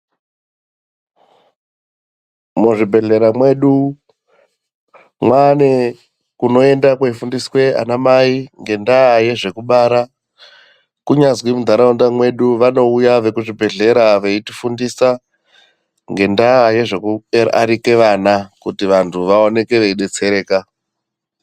Muzvibhehlera mwedu mwaane kunoenda kweifundiswe anamai ngendaa yezvekubara. Kunyazwi muntaraunda mwedu vanouya vekuzvibhehlera veitifundisa ngendaa yezvekuarike vana. Kuti vantu vaoneke veidetsereka.